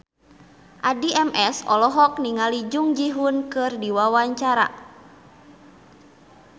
Addie MS olohok ningali Jung Ji Hoon keur diwawancara